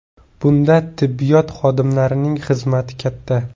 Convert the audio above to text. Bunda tibbiyot xodimlarining xizmati katta.